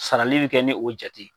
Sarali bi kɛ ni o jate ye